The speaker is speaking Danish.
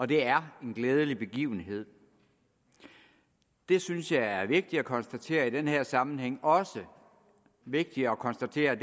det er en glædelig begivenhed det synes jeg er vigtigt at konstatere i den her sammenhæng også er vigtigt at konstatere